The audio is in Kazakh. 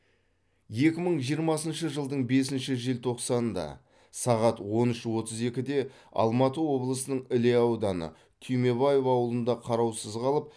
екі мың жиырмасыншы жылдың бесінші желтоқсанында сағат он үш отыз екіде алматы облысының іле ауданы түймебаев ауылында қараусыз қалып